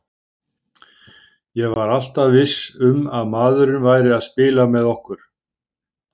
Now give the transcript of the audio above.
Ég var alltaf viss um að maðurinn væri að spila með okkur.